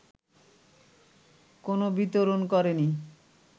কোনো বিতরণ করেনি